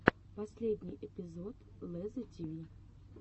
последний эпизод лезза тиви